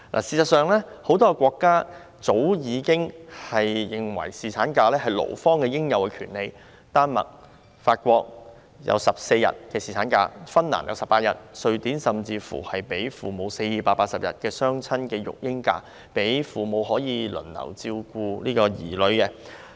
事實上，很多國家早已承認侍產假是勞方的應有權利，丹麥、法國設定14天侍產假，芬蘭則設定18天，而瑞典甚至給予父母480天的雙親育嬰假，讓父母可以輪替地照顧子女。